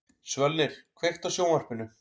Svölnir, kveiktu á sjónvarpinu.